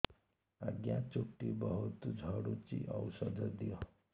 ଆଜ୍ଞା ଚୁଟି ବହୁତ୍ ଝଡୁଚି ଔଷଧ ଦିଅ